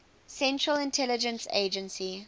central intelligence agency